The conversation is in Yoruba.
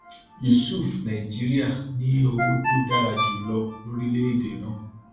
yusuf nàìjíríà ní owó tó dára jù lọ lórílẹèdè náà